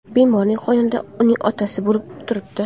Bemorning yonida uning otasi bo‘lib turibdi.